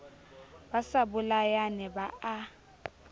ba sa bolayane ba a